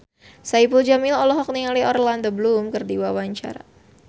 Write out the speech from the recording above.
Saipul Jamil olohok ningali Orlando Bloom keur diwawancara